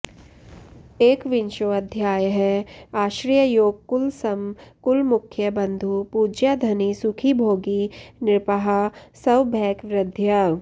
एकविंशोऽध्यायः आश्रययोग कुल सम कुल मुख्य बन्धु पूज्याधनि सुखि भोगि नृपाः स्व भैक वृद्ध्या